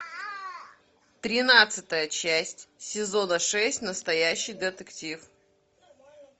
тринадцатая часть сезона шесть настоящий детектив